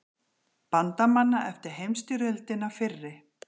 Bandamanna eftir heimsstyrjöldina fyrri.